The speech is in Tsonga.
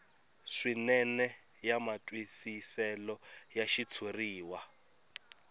swinene ya matwisiselo ya xitshuriwa